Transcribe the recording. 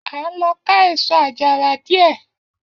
A ń lo ká èsó ajara dìé.